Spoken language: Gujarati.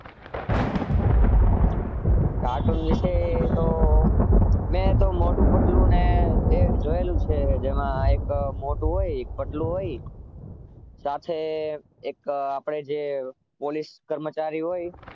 કાર્ટૂન વિશે તો મેં તો મોટું પતલુંને જોયેલું છે જેમાં એક મોટું હોય પતલું હોય સાથે એક આપણે જે પોલીસ કર્મચારી હોય.